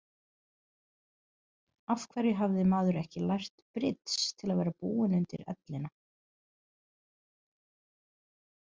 Af hverju hafði maður ekki lært brids til að vera búinn undir ellina?